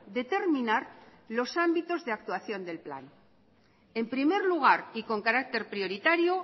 determinar los ámbitos de actuación del plan en primer lugar y con carácter prioritario